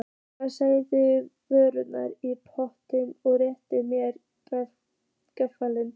Hann setti vörurnar í poka og rétti mér afganginn.